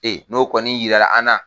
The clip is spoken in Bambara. Ee n'o kɔni yirala an na